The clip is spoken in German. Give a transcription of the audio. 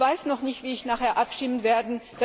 Ich weiß noch nicht, wie ich nachher abstimmen werde.